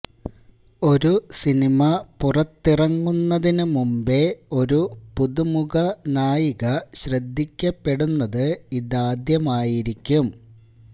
ഒരു സിനിമ പുറത്തിറങ്ങുന്നതിന് മുമ്പേ ഒരു പുതുമുഖ നായിക ശ്രദ്ധിക്കപ്പെടുന്നത് ഇതാദ്യമായിരിക്കും